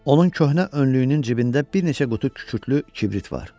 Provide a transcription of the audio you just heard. Onun köhnə önlüyünün cibində bir neçə qutu kükürdlü kibrit var.